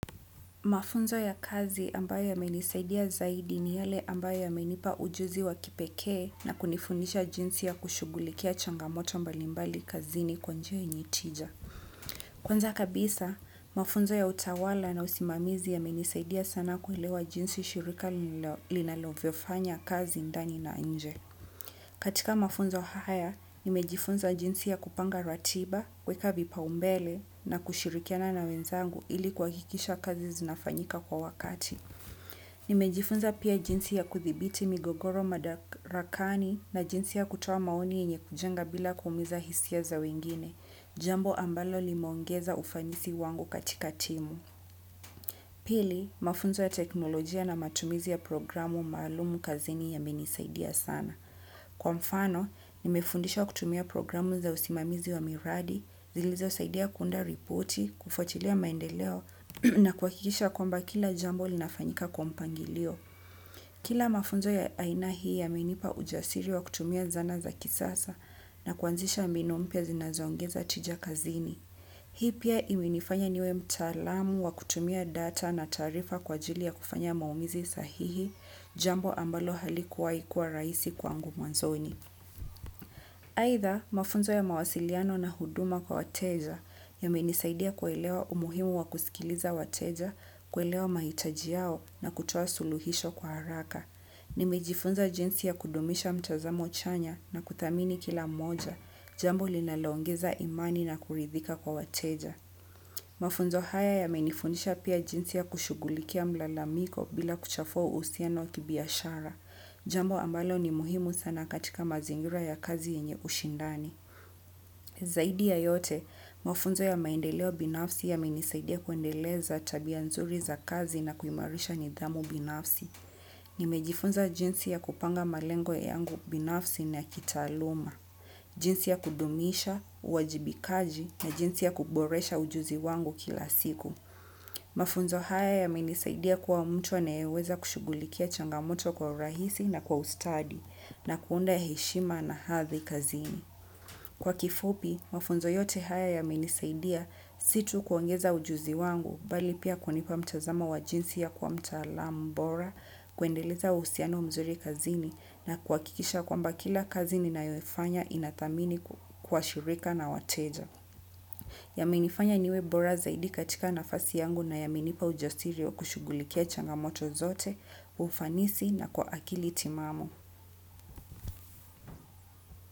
Mafunzo ya kazi ambayo ya menisaidia zaidi ni yale ambayo ya menipa ujuzi wa kipekee na kunifunisha jinsi ya kushugulikia changamoto mbalimbali kazini kwanjia enye tija. Kwanza kabisa, mafunzo ya utawala na usimamizi ya menisaidia sana kuhelewa jinsi shirika linalo viofanya kazi ndani na nje. Katika mafunzo haya, nimejifunza jinsi ya kupanga ratiba, kweka vipa umbele na kushirikiana na wenzangu ili kwa hikisha kazi zinafanyika kwa wakati. Nimejifunza pia jinsi ya kuthibiti migogoro madarakani na jinsi ya kutowa maoni enye kujenga bila kumiza hisia za wengine, jambo ambalo limeongeza ufanisi wangu katika timu. Pili mafunzo ya teknolojia na matumizi ya programu maalumu kazini yamenisaidia sana. Kwa mfano, nimefundisha kutumia programu za usimamizi wa miradi, zilizo saidia kunda ripoti, kufuatilia maendeleo na kwa kikisha kwamba kila jambo linafanyika kwa mpangilio. Kila mafunzo ya aina hii yamenipa ujasiri wa kutumia zana za kisasa na kuanzisha mbinu mpia zinazongeza tijakazini. Hii pia imenifanya niwe mtalamu wa kutumia data na tarifa kwa ajili ya kufanya maumizi sahihi, jambo ambalo halikuwa ikua raisi kwangu mwanzoni. Haitha, mafunzo ya mawasiliano na huduma kwa wateja, ya menisaidia kuelewa umuhimu wa kusikiliza wateja, kuelewa mahitaji yao na kutowa suluhisho kwa haraka. Nimejifunza jinsi ya kudumisha mtazamo chanya na kuthamini kila mmoja jambo linalongeza imani na kuridhika kwa wateja mafunzo haya yamenifundisha pia jinsi ya kushughulikia mlalamiko bila kuchafua uhusiano wa kibiashara jambo ambalo ni muhimu sana katika mazingira ya kazi yenye ushindani. Zaidi ya yote, mafunzo ya maendeleo binafsi ya menisaidia kuendeleza tabia nzuri za kazi na kuimarisha nidhamu binafsi. Nimejifunza jinsi ya kupanga malengo ya yangu binafsi na kitaluma. Jinsi ya kudumisha, uwajibikaji na jinsi ya kuboresha ujuzi wangu kila siku. Mafunzo haya ya minisaidia kwa mtu aneweza kushugulikia changamoto kwa rahisi na kwa ustadi na kuunda ya heshima na hathi kazini. Kwa kifupi, mafunzo yote haya yamenisaidia situ kuongeza ujuzi wangu bali pia kwanipa mtazama wa jinsi ya kwa mtalambora kuendeleza usiano mzuri kazini na kwa kikisha kwa mba kila kazi ni na yo ifanya inatamini kwa shirika na wateja. Yamenifanya niwe bora zaidi katika nafasi yangu na yamenipa ujasiri wa kushugulikia changamoto zote, ufanisi na kwa akili timamu.